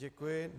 Děkuji.